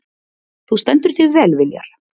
Þú stendur þig vel, Viljar!